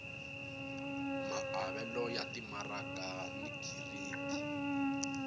maavelo ya timaraka ni giridi